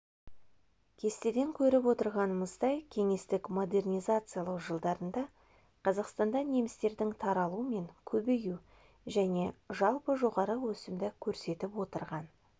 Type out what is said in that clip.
кестеден көріп отырғанымыздай кеңестік модернизациялану жылдарында қазақстанда немістердің таралу мен көбею және жалпы жоғары өсімді көрсетіп отырған